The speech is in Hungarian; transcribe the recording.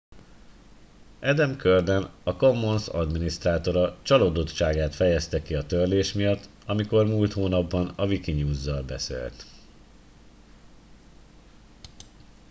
adam cuerden a commons adminisztrátora csalódottságát fejezte ki a törlés miatt amikor múlt hónapban a wikinews zal beszélt